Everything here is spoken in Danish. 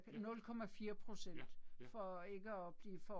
Ja. Ja, ja